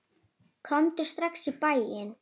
Komdu strax í bæinn.